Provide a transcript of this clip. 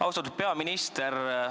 Austatud peaminister!